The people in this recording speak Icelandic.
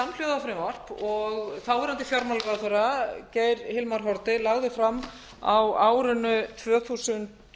samhljóða frumvarp og þáverandi fjármálaráðherra geir hilmar haarde lagði fram á árinu tvö þúsund